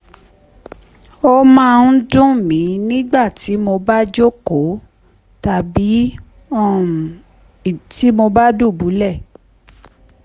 ó máa ń dùn mí nígbà tí mo bá jókòó tàbí um tí mo bá dùbúlẹ̀